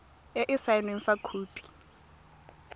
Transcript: e e saenweng fa khopi